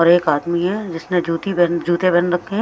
और एक आदमी है जिसने जूती बहन जूते पहन रखे हैं।